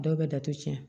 Dɔw bɛ datugu tiɲɛ